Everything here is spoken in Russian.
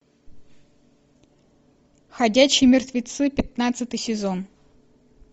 ходячие мертвецы пятнадцатый сезон